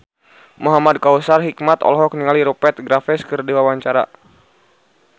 Muhamad Kautsar Hikmat olohok ningali Rupert Graves keur diwawancara